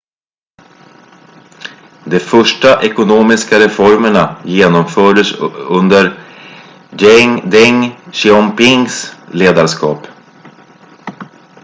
de första ekonomiska reformerna genomfördes under deng xiaopings ledarskap